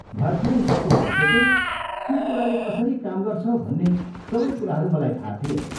भर्खरै स्कुल सकेको, के कुराले कसरी काम गर्छ भन्ने सबै कुराहरू मलाई थाहा थिएन।